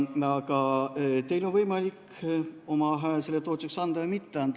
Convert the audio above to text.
Aga teil on võimalik oma hääl selle toetuseks anda või mitte anda.